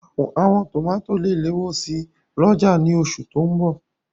Àwọn tòmátò lè léwó si lọ́jà ní oṣù tó n bọ̀